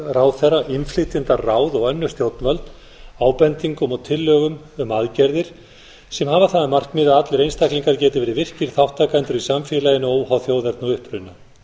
ráðherra innflytjendaráð og önnur stjórnvöld ábendingum og tillögum um aðgerðir sem hafa það að markmiði að allir einstaklingar geti verið virkir þátttakendur í samfélaginu óháð þjóðerni og uppruna